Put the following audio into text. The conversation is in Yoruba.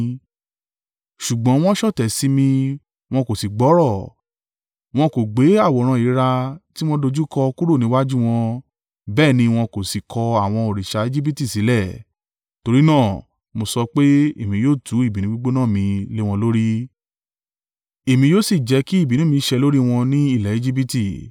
“ ‘Ṣùgbọ́n wọn ṣọ̀tẹ̀ sí mi wọn kò sì gbọ́rọ̀, wọn kò gbé àwòrán ìríra tí wọ́n dojúkọ kúrò níwájú wọn bẹ́ẹ̀ ni wọn kò si kọ̀ àwọn òrìṣà Ejibiti sílẹ̀, torí náà mo sọ pé èmi yóò tú ìbínú gbígbóná mi lé wọn lórí, èmi yóò sì jẹ́ kí ìbínú mi sẹ̀ lórí wọn ní ilẹ̀ Ejibiti.